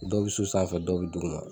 Dɔw bi so sanfɛ dɔw bi duguma.